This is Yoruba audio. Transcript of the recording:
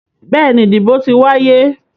Bẹ́ẹ̀ni, ìdìbò ti wáyé.